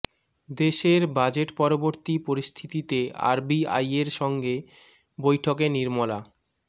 দেশের বাজেট পরবর্তী পরিস্থিতিতে আরবি আইয়ের সঙ্গে বৈঠকে নির্মলা